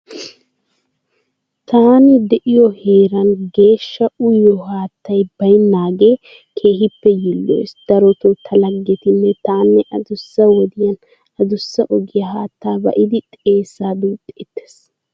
Taani de'iyo heeran geeshsha uyiyo haattay baynnaagee keehippe yiilloyees. Darotoo ta laggetinne taanne adussa wodiyanne adussa ogiya haattaa ba'iiddi xeessaa duuxxeettee.